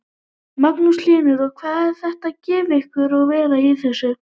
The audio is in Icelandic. Magnús Hlynur: Og hvað er þetta að gefa ykkur að vera í þessu?